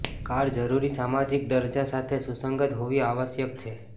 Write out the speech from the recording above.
car જરૂરી સામાજિક દરજ્જા સાથે સુસંગત હોવી આવશ્યક છે